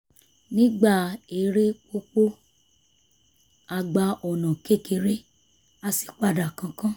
nígbà eré pópó a gba ọ̀nà kékèké a sì padà kánkán